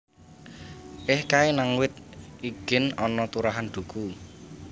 Eh kae nang wit igin ana turahan duku